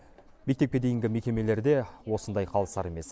мектепке дейінгі мекемелер де осындай қалысар емес